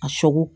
A sogo